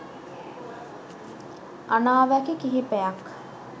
අනාවැකි කිහිපයක්